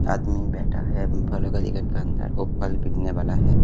आदमी बैठा है अम फलो का के अंदर औ पल बिकने वाला है।